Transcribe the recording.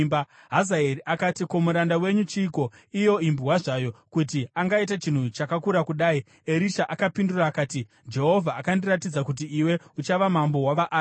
Hazaeri akati, “Ko, muranda wenyu chiiko, iyo imbwa zvayo, kuti angaita chinhu chakakura kudai?” Erisha akapindura akati, “Jehovha akandiratidza kuti iwe uchava mambo wavaAramu.”